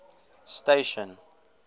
station